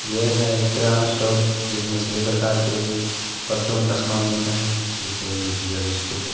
यह एक किराना स्टोर जिसमें सभी प्रकार के परचून का सामान मिलता है जैसे भुजिया बिस्किट है।